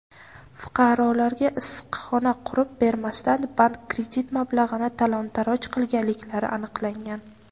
fuqarolarga issiqxona qurib bermasdan bank kredit mablag‘ini talon-toroj qilganliklari aniqlangan.